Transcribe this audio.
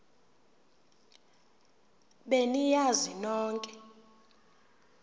be niyazi nonk